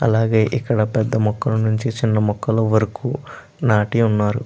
అలాగే ఇక్కడ పెద్ద మొక్కల నుంచి చిన్న మొక్కల వరకు నాటి ఉన్నారు.